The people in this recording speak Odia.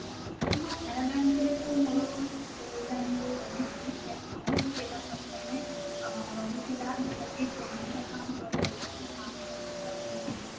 ମୁଁ canara bank ରେ ତ ମୋର school time ରୁ ରହିଛି ସେ account ସେଇଟା ପ୍ରଥମେ ଅଁ ରହିଥିଲା ଯୋଉଟା କି joint account ରହିଥିଲା ମୋ ମା ଙ୍କ ନାଁ ରେ ଆଉ ମୋ ନାଁ ରେ